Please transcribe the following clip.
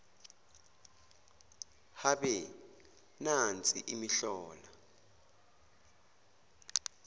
habe nansi imihlola